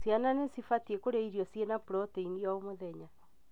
Ciana nĩcibatie kũrĩa irio cĩina proteini o~mũthenya